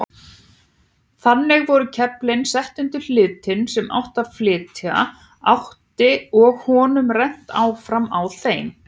Þannig voru keflin sett undir hlutinn sem flytja átti og honum rennt áfram á þeim.